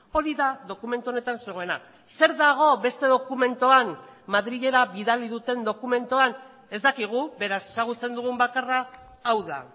hori da dokumentu honetan zegoena zer dago beste dokumentuan madrilera bidali duten dokumentuan ez dakigu beraz ezagutzen dugun bakarra hau da